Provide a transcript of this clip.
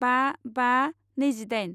बा बा नैजिदाइन